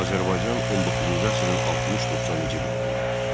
Azərbaycan 19-cu əsrin 60-90-cı illərində.